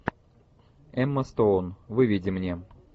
эмма стоун выведи мне